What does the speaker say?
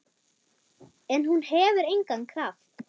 En hún hefur engan kraft.